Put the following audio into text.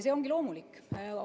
See ongi loomulik.